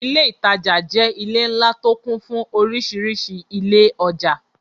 Ilé ìtajà jẹ́ ilé ńlá tó kún fún orísìírísìí ilé ọjà.